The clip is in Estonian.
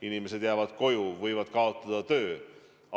Inimesed jäävad koju, võivad kaotada töö.